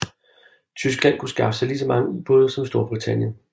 Tyskland kunne skaffe sig lige så mange ubåde som Storbritannien